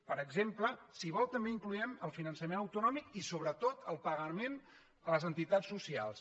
per exemple si ho vol també incloem el finançament autonòmic i sobretot el pagament a les entitats socials